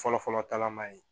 Fɔlɔfɔlɔ tagama ye